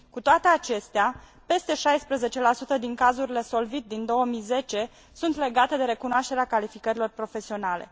Cu toate acestea, peste 16 din cazurile SOLVIT din 2010 sunt legate de recunoașterea calificărilor profesionale.